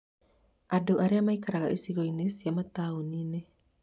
Andũ arĩa maikaraga icigo cia mataũni-inĩ